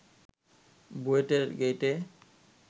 বুয়েটের গেইটে